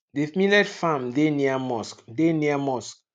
the millet farm deh near mosque deh near mosque